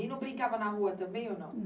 E não brincava na rua também ou não?